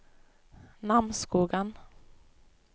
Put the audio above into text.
Namsskogan